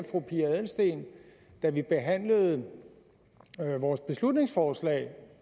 fru pia adelsteen da vi behandlede vores beslutningsforslag